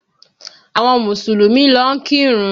Àwọn Mùsùlùmí lọ ń kírun